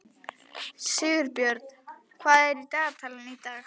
Sigbjörn, hvað er í dagatalinu í dag?